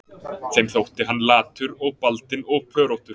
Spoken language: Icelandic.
Þeim þótti hann latur og baldinn og pöróttur